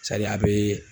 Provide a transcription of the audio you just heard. a bɛ